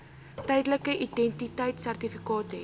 tydelike identiteitsertifikaat hê